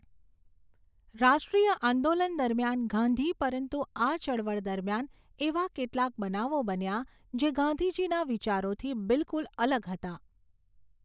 રાષ્ટ્રિય આંદોલન દરમિયાન ગાંધી પરંતુ આ ચળવળ દરમિયાન એવાં કેટલાક બનાવો બન્યા જે ગાંધીજીના વિચારોથી બિલકુલ અલગ હતા.